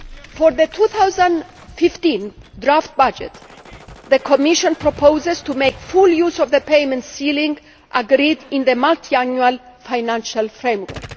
For the 2015 draft budget, the Commission proposes to make full use of the payment ceiling agreed in the Multiannual Financial Framework.